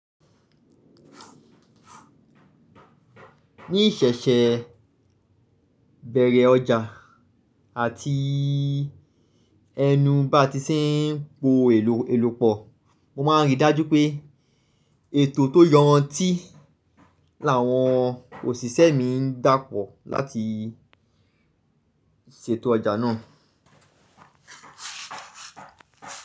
Ní ìṣẹ̀ṣẹ̀ bẹ̀rẹ̀ ọjà àti ẹnu bá ti sí ń po èlò elò pọ̀, mo máa ń rí i dájú pé ètò tó yọrantí làwọn òṣìṣẹ́ mi ń dá pọ̀ láti ṣètò ọjà náà.